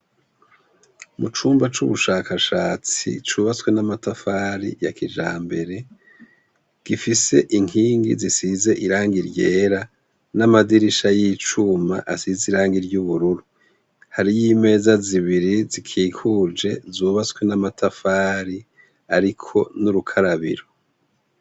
Mu chumba c'ubushakashatsi c'ubatswe n'amatafari ya kijambere, gifise inkingi zisize irangi ry'era n'amadirisha y'icuma asize irangi ry'ubururu. Hariyo imeza zibiri zikikuje zubatswe na matafari ariko n'urukarabiro.